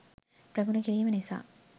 ප්‍රගුණ කිරීම නිසා